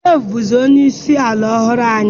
Dave bụzi onye isi ala ọhụrụ anyị